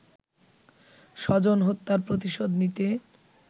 স্বজন হত্যার প্রতিশোধ নিতে